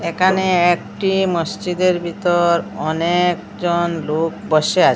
একানে একটি মসচিদের ভিতর অনেকজন লোক বসে আ--